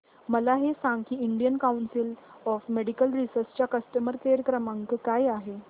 मला हे सांग की Indian council of medical research चा कस्टमर केअर क्रमांक काय आहे